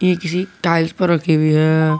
किसी टाइल्स पर रखी हुई है।